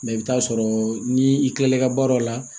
Mɛ i bɛ t'a sɔrɔ ni i kilala i ka baaraw la